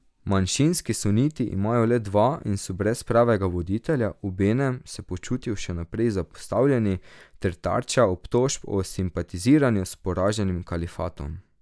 Manjšinski suniti imajo le dva in so brez pravega voditelja, obenem se počutijo še naprej zapostavljeni ter tarča obtožb o simpatiziranju s poraženim kalifatom.